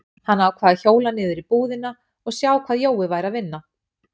Hann ákvað að hjóla niður í búðina og sjá hvað Jói væri að vinna.